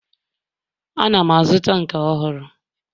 Ana m azụta nke ọhụrụ